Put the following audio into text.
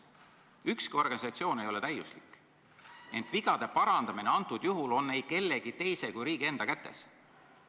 Ükski organisatsioon ei ole täiuslik, ent vigade parandamine antud juhul on ei kellegi teise kui riigi enda kätes.